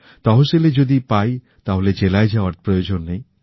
তহসিলে যদি পাই তাহলে জেলায় যাওয়ার প্রয়োজন নেই